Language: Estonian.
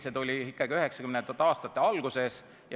See tuli üheksakümnendate aastate alguses.